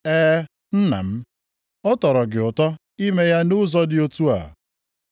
E, Nna m, ọ tọrọ gị ụtọ ime ya nʼụzọ dị otu a.